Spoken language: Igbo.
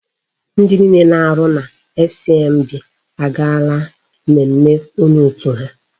Ndi niile na-arụ na FCMB agaala mmemme onye otu ha.